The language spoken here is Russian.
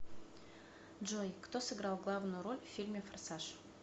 джой кто сыграл главную роль в фильме форсаж